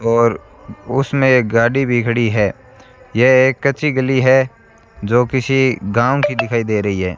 और उसमें एक गाड़ी भी खड़ी है यह एक कच्ची गली है जो किसी गांव की दिखाई दे रही है।